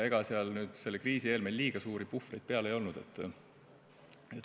Ega kriisi eel meil liiga suuri puhvreid ei olnud.